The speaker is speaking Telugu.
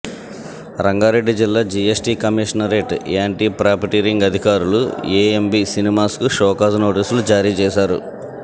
రంగారెడ్డి జిల్లా జీఎస్టీ కమిషనరేట్ యాంటీ ప్రాఫిటీరింగ్ అధికారులు ఏఎంబి సినిమాస్ కు షోకాజ్ నోటీసులు జారీ చేశారు